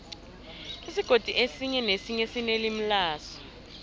isigodi esinye nesinye sinelimi laso